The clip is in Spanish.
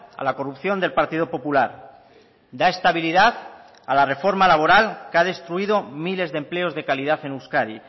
a la corrupción del partido popular da estabilidad a la reforma laboral que ha destruido miles de empleos de calidad en euskadi